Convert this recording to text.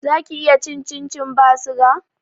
Zaki iya cin cincin ba suga